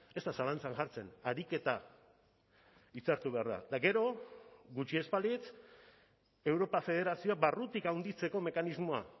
ez da zalantzan jartzen ariketa hitzartu behar da eta gero gutxi ez balitz europa federazioa barrutik handitzeko mekanismoa